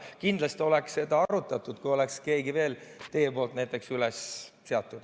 Kindlasti oleks seda arutatud, kui teie näiteks oleksite veel kellegi üles seadnud.